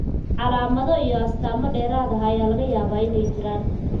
Calaamado iyo astamo dheeraad ah ayaa laga yaabaa inay jiraan.